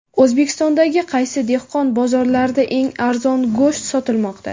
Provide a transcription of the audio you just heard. O‘zbekistondagi qaysi dehqon bozorlarida eng arzon go‘sht sotilmoqda?.